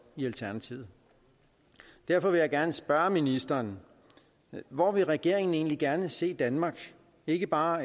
i alternativet derfor vil jeg gerne spørge ministeren hvor vil regeringen egentlig gerne se danmark ikke bare